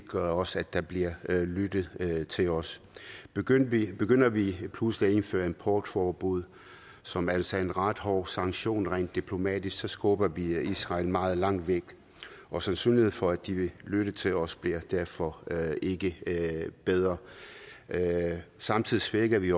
gør også at der bliver lyttet til os begynder vi pludselig at indføre importforbud som altså er en ret hård sanktion rent diplomatisk skubber vi israel meget langt væk og sandsynligheden for at de vil lytte til os bliver derfor ikke bedre samtidig svækker vi